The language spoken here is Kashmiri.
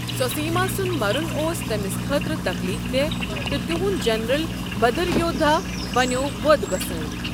سوسیما سُنٛد مرُن اوس تٔمِس خٲطرٕ تکلیٖف دہ تہٕ تہنٛد جنرل بھدریودھا بنٮ۪و بدھ گۄسٲنۍ۔